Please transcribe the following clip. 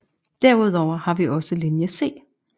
Derudover har vi også Linje C